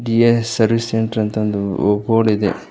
DS service centre ಅಂತ್ ಅಂದು ಬೋರ್ಡಿದೆ.